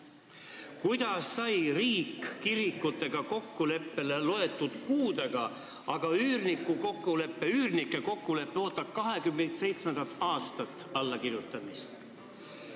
Kuidas sai riik kirikutega kokkuleppele mõne kuuga, aga üürnike kokkulepe ootab 27. aastat allakirjutamist?